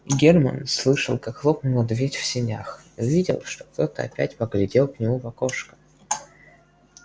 германн слышал как хлопнула дверь в сенях увидел что кто-то опять поглядел к нему в окошко